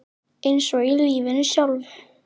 Eins og í lífinu sjálfu.